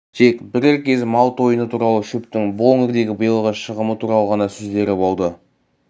тек бірер кез мал тойыны туралы шөптің бұл өңірдегі биылғы шығымы туралы ғана сөздері болды